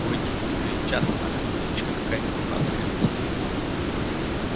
у этих бомжей часто так кличка какая-нибудь дурацкая вместо имени